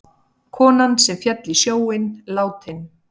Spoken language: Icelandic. Konan sem féll í sjóinn látin